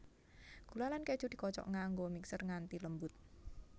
Gula lan keju dikocok nganggo mixer nganti lembut